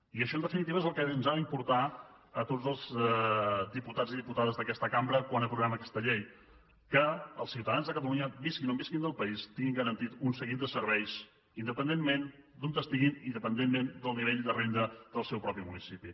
i això en definitiva és el que ens ha d’importar a tots els diputats i diputades d’aquesta cambra quan aprovem aquesta llei que els ciutadans de catalunya visquin on visquin del país tinguin garantit un seguit de serveis independentment d’on estiguin i independentment del nivell de renda del seu propi municipi